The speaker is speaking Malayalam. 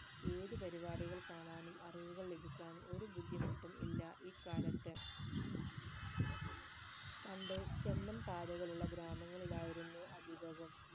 ഏത് പരിപാടികൾ കാണാനും അറിവുകൾ ലഭിക്കാനും ഒരു ബുദ്ധിമുട്ടും ഇല്ല ഇക്കാലത്ത് പണ്ട് ചെമ്മൺ പാതകൾ ഉള്ള ഗ്രാമങ്ങളിലായിരുന്നു അധികവും